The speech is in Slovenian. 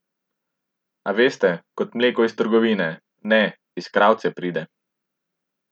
A veste, kot mleko iz trgovine, ne, iz kravce pride.